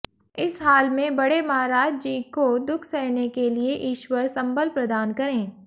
इस हाल में बड़े महाराज जी को दुख सहने के लिए ईश्वर संबल प्रदान करें